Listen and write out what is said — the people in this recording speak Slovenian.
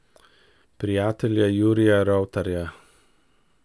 Prijatelja Jurija Rovtarja.